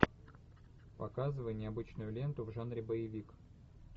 показывай необычную ленту в жанре боевик